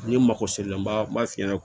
N'i mago sela m'a f'i ɲɛna